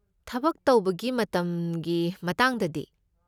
ꯊꯕꯛ ꯇꯧꯕꯒꯤ ꯃꯇꯝꯒꯤ ꯃꯇꯥꯡꯗꯗꯤ?